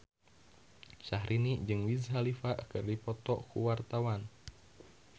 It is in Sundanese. Syahrini jeung Wiz Khalifa keur dipoto ku wartawan